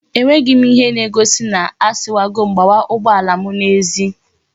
E nweghim ihe na egosi na asiwagom gbawa ugbo alam na ezi